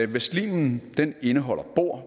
hvis slimen indeholder bor